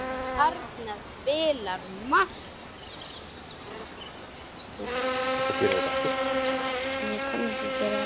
Hann hafði húmor fyrir því.